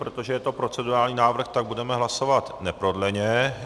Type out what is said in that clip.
Protože je to procedurální návrh, tak budeme hlasovat neprodleně.